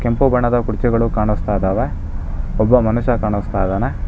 ಕೆಂಪು ಬಣ್ಣದ ಗುಚ್ಚಗಳು ಕಾಣಿಸ್ತಾ ಇದಾವೆ ಒಬ್ಬ ಮನುಷ್ಯ ಕಾಣುಸ್ತಾ ಇದಾನೆ.